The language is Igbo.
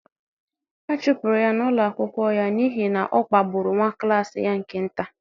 a chụpụrụ ya n’ụlọ akwụkwọ ya n’ihi na ọ kpagburu nwa klas ya nke nta.